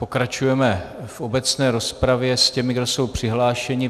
Pokračujeme v obecné rozpravě s těmi, kdo jsou přihlášeni.